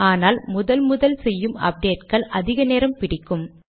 ஆனால் முதல் முதல் செய்யும் அப்டேட்கள் அதிக நேரம் பிடிக்கும்